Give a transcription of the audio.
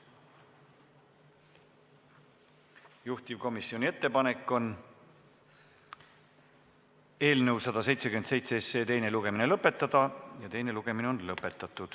Juhtivkomisjoni ettepanek on eelnõu 177 teine lugemine lõpetada ja teine lugemine on lõpetatud.